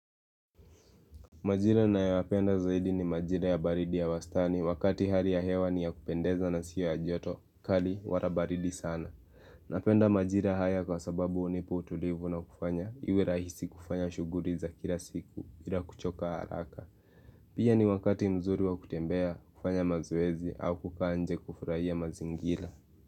Majira naniyoyapenda zaidi ni majira ya baridi ya wastani wakati hali ya hewa ni ya kupendeza na siyo ya joto kali wala baridi sana Napenda majira haya kwa sababu hunipa ulivu na kufanya iwe rahisi kufanya shughuli za kila siku bila kuchoka haraka Pia ni wakati mzuri wa kutembea kufanya mazoezi au kukaa nje kufurahia mazingira.